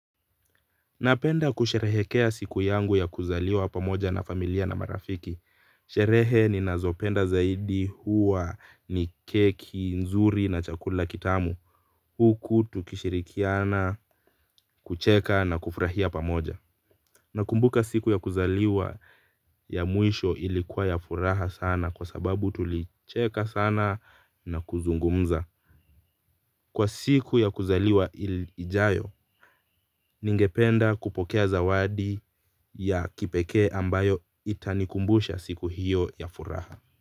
Napenda kusherehekea siku yangu ya kuzaliwa pamoja na familia na marafiki. Sherehe ninazopenda zaidi huwa ni keki, nzuri na chakula kitamu huku tukishirikiana, kucheka na kufurahia pamoja. Nakumbuka siku ya kuzaliwa ya mwisho ilikuwa ya furaha sana kwa sababu tulicheka sana na kuzungumza kwa siku ya kuzaliwa ijayo, ningependa kupokea zawadi ya kipekee ambayo itanikumbusha siku hiyo ya furaha.